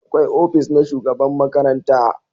Akwai ofis na shugaban makaranta